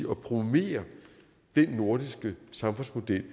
promovere den nordiske samfundsmodel